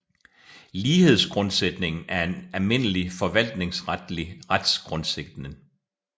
Lighedsgrundsætningen er en almindelig forvaltningsretlig retsgrundsætning